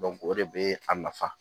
o de bɛ a nafa